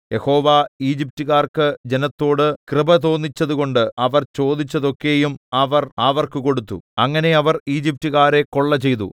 യഹോവ ഈജിപ്റ്റുകാർക്ക് ജനത്തോട് കൃപ തോന്നിച്ചതുകൊണ്ട് അവർ ചോദിച്ചതൊക്കെയും അവർ അവർക്ക് കൊടുത്തു അങ്ങനെ അവർ ഈജിപ്റ്റുകാരെ കൊള്ള ചെയ്തു